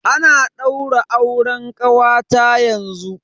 Ana daura auren kawata yanzu.